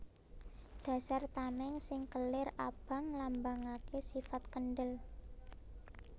Dasar tamèng sing kelir abang nglambangaké sifat kendhel